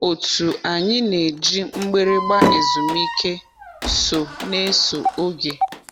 Otu anyị na-eji mgbịrịgba ezumike so n'eso oge.